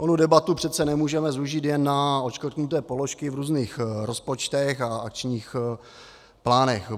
Onu debatu přece nemůžeme zúžit jen na odškrtnuté položky v různých rozpočtech a akčních plánech.